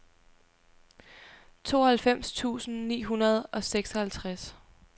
tooghalvfems tusind ni hundrede og seksoghalvtreds